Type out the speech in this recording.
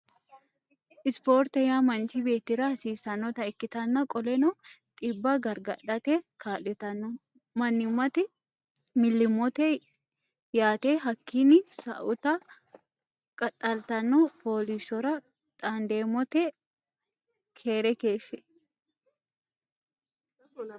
Isporte yaa manchi beettira hasiisannota ikkitana qoleno dhibba gargadhate kaalitanno mannimati millimilooti yaate hakkinni sa'uta qaxaltanno fooliishshora xaandamote keere keeshsh